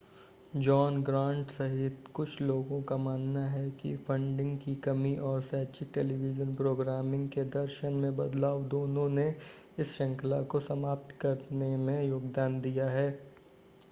John Grant सहित कुछ लोगों का मानना है कि फंडिंग की कमी और शैक्षिक टेलीविज़न प्रोग्रामिंग के दर्शन में बदलाव दोनों ने इस श्रृंखला को समाप्त करने में योगदान दिया है